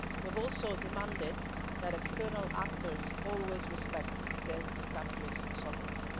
We have also demanded that external actors always respect this country's sovereignty.